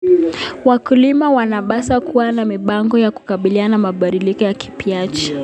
Wakulima wanapaswa kuwa na mipango ya kukabiliana na mabadiliko ya tabianchi.